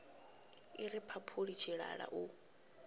i ri mphaphuli tshilala u